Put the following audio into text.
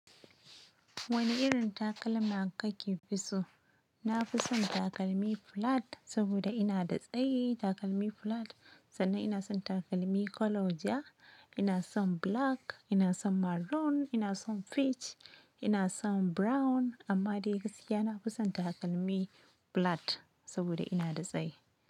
Wane irin takalma kake fi so? Na fi son takalmi flat saboda ina da tsayi. Takalmi flat sannan ina son takalmi colour jiya. Ina son black, ina son maroon, ina son peach, ina son brown amma dai gaskiya na fi son takalmi flat saboda ina da tsayi.